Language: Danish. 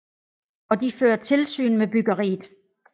Og de fører tilsyn med byggeriet